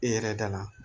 E yɛrɛ dala